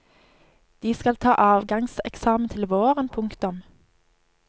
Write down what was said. De skal ta avgangseksamen til våren. punktum